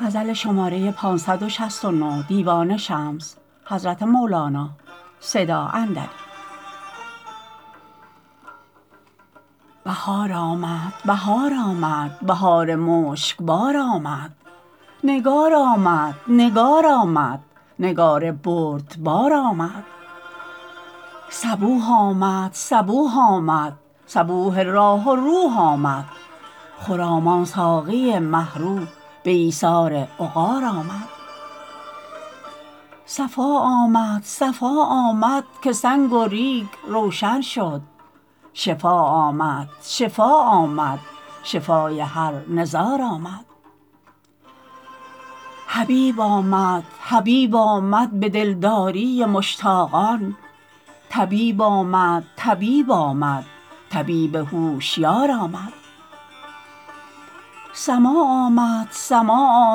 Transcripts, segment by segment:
بهار آمد بهار آمد بهار مشکبار آمد نگار آمد نگار آمد نگار بردبار آمد صبوح آمد صبوح آمد صبوح راح و روح آمد خرامان ساقی مه رو به ایثار عقار آمد صفا آمد صفا آمد که سنگ و ریگ روشن شد شفا آمد شفا آمد شفای هر نزار آمد حبیب آمد حبیب آمد به دلداری مشتاقان طبیب آمد طبیب آمد طبیب هوشیار آمد سماع آمد سماع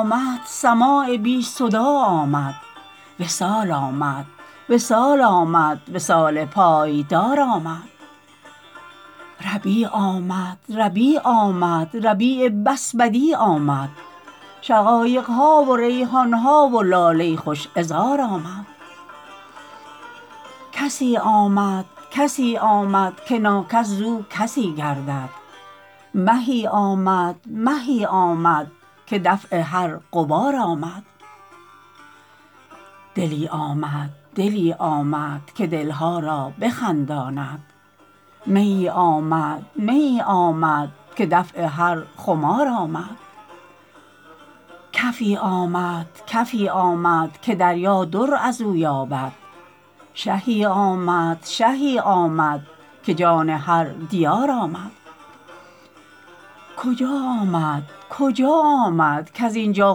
آمد سماع بی صداع آمد وصال آمد وصال آمد وصال پایدار آمد ربیع آمد ربیع آمد ربیع بس بدیع آمد شقایق ها و ریحان ها و لاله خوش عذار آمد کسی آمد کسی آمد که ناکس زو کسی گردد مهی آمد مهی آمد که دفع هر غبار آمد دلی آمد دلی آمد که دل ها را بخنداند میی آمد میی آمد که دفع هر خمار آمد کفی آمد کفی آمد که دریا در از او یابد شهی آمد شهی آمد که جان هر دیار آمد کجا آمد کجا آمد کز این جا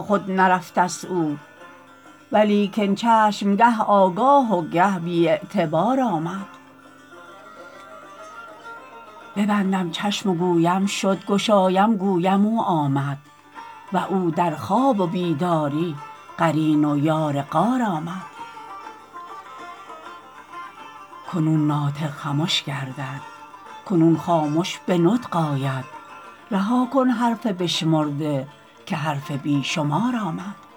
خود نرفتست او ولیکن چشم گه آگاه و گه بی اعتبار آمد ببندم چشم و گویم شد گشایم گویم او آمد و او در خواب و بیداری قرین و یار غار آمد کنون ناطق خمش گردد کنون خامش به نطق آید رها کن حرف بشمرده که حرف بی شمار آمد